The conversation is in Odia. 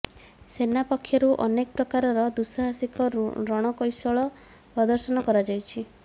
ସେନା ପକ୍ଷରୁ ଅନେକ ପ୍ରକାରର ଦୁଃସାହସିକ ରଣ କୌଶଳ ପ୍ରଦର୍ଶନ କରାଯାଇଛି